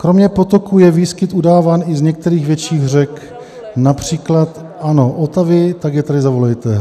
"Kromě potoků je výskyt udáván i z některých větších řek, například, ano, Otavy -" Tak je tady zavolejte.